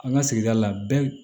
An ka sigida la bɛɛ